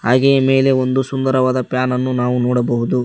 ಹಾಗೆ ಮೇಲೆ ಒಂದು ಸುಂದರವಾದ ಫ್ಯಾನ್ ಯನ್ನು ನೋಡಬಹುದು.